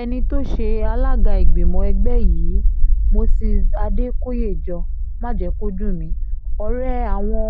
ẹni tó ṣe alága ìgbìmọ̀ ẹgbẹ́ yìí moses adékòyéjọ májèkọ́dùnmí ọ̀rẹ́ àwọn